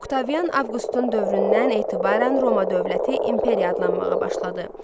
Oktavian Avqustun dövründən etibarən Roma dövləti imperiya adlanmağa başladı.